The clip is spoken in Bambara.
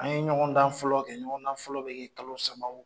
An ye ɲɔgɔndan fɔlɔ kɛ ɲɔgɔn fɔlɔ bɛ kɛ kalo saba o